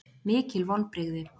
Mikil vonbrigði